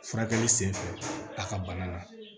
Furakɛli sen fɛ a ka bana na